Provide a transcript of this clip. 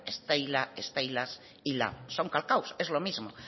steilas y lab son calcados es lo mismo